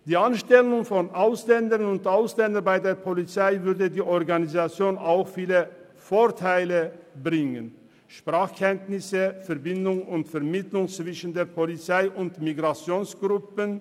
Die Anstellung von Ausländerinnen und Ausländern bei der Polizei würde der Organisation viele Vorteile bringen: Sprachkenntnisse, Verbindung und Vermittlung zwischen der Polizei und Migrationsgruppen.